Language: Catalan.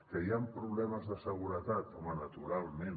que hi han problemes de seguretat home naturalment